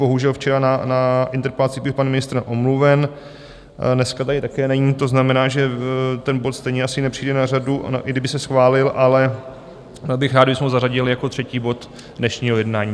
Bohužel včera na interpelacích byl pan ministr omluven, dneska tady také není, to znamená, že ten bod stejně asi nepřijde na řadu, i kdyby se schválil, ale bych rád, kdybychom ho zařadili jako třetí bod dnešního jednání.